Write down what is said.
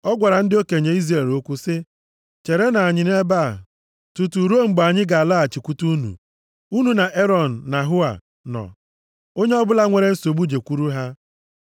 Ọ gwara ndị okenye Izrel okwu sị, “Cherenụ anyị nʼebe a tutu ruo mgbe anyị ga-alaghachikwute unu. Unu na Erọn na Hua nọ, onye ọbụla nwere nsogbu jekwuru ha.”